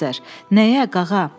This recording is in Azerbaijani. Nəyə, qağa?